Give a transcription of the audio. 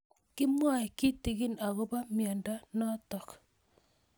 Kimwae kitig'in akopo miondo notok